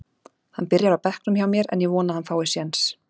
Hann byrjar á bekknum hjá mér en ég vona að hann fái séns.